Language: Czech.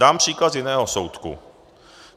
Dám příklad z jiného soudku.